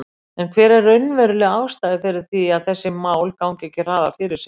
En hver er raunveruleg ástæða fyrir því að þessi mál ganga ekki hraðar fyrir sig?